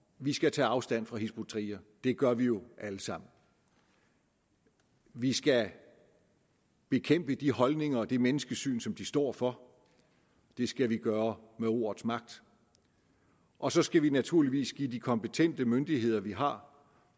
vi skal tage afstand fra hizb ut tahrir det gør vi jo alle sammen vi skal bekæmpe de holdninger og det menneskesyn som de står for det skal vi gøre med ordets magt og så skal vi naturligvis give de kompetente myndigheder vi har